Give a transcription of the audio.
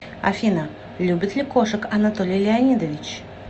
афина любит ли кошек анатолий леонидович